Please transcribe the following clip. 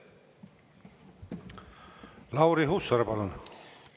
Lauri Hussar, palun!